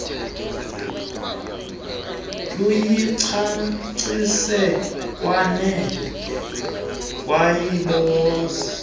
luyicacise lwade lwayizoba